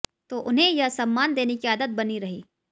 तो उन्हें यह सम्मान देने की आदत बनी रही